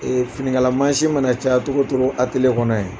finikalamansi mana na caya ateliye kɔnɔ yen